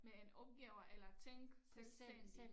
Med en opgave eller tænke selvstændig